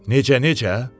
Necə-necə?